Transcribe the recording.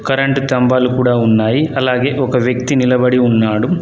Current తంభాలు కూడా ఉన్నాయి అలాగే ఒక వ్యక్తి నిలబడి ఉన్నాడు.